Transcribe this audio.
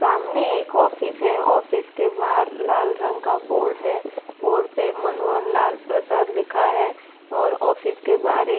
सामने एक ऑफिस है ऑफिस के बाहर लाल रंग का बोर्ड है बोर्ड पे मनोहरलाल प्रसाद लिखा है और ऑफिस के बाहर एक --